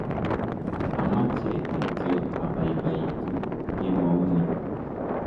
ameche kityo abaibaitu kemouni